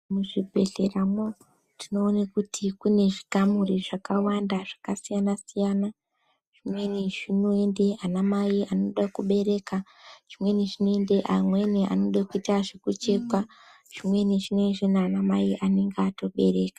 Muzvibhedhlera mwo tinoone kuti kune zvikamuri zvakawanda Zvakasiyana siyana zvimweni zvinoende ana mai anode kubereka zvimweni zvinoende amweni anode kuita zvekuchekwa zvimweni zveine zvinana amai anenge atobereka.